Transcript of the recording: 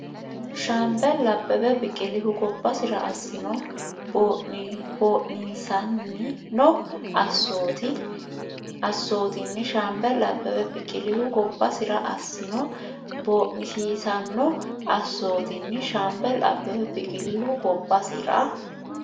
Shaambeli Abbebe Biqilihu gobbasira assino boo’nisiisanno assoot- inni Shaambeli Abbebe Biqilihu gobbasira assino boo’nisiisanno assoot- inni Shaambeli Abbebe Biqilihu gobbasira.